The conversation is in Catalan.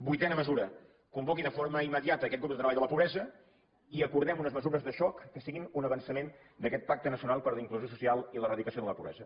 novena mesura convoqui de forma immediata aquest grup de treball de la pobresa i acordem unes mesures de xoc que siguin un avançament d’aquest pacte nacional per a la inclusió social i l’eradicació de la pobresa